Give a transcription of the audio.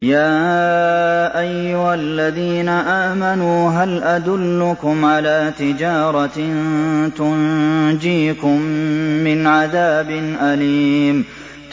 يَا أَيُّهَا الَّذِينَ آمَنُوا هَلْ أَدُلُّكُمْ عَلَىٰ تِجَارَةٍ تُنجِيكُم مِّنْ عَذَابٍ أَلِيمٍ